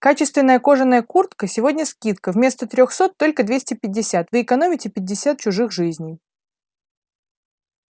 качественная кожаная куртка сегодня скидка вместо трёхсот только двести пятьдесят вы экономите пятьдесят чужих жизней